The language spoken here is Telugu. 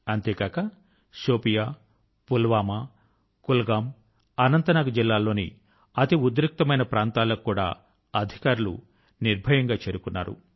అంతేగాక శోపియా పుల్వామా కుల్గామ్ మరియు అనంత్ నాగ్ జిల్లాల లోని అతి ఉద్రిక్తమైన ప్రాంతాల కు కూడా అధికారులు నిర్భయం గా చేరుకున్నారు